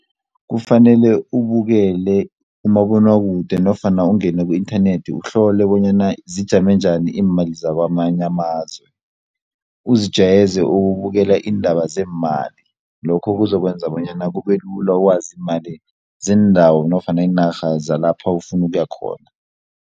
Kufanele ubukele umabonwakude nofana ungene ku-inthanethi uhlole bonyana zijame njani iimali zakwamanye amazwe, uzijayeze ukubukela iindaba zeemali lokho kuzokwenza bonyana kubelula ukwazi iimali zeendawo nofana iinarha zalapha ufuna ukuya khona.